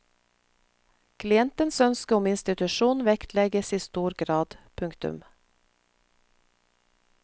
Klientens ønske om institusjon vektlegges i stor grad. punktum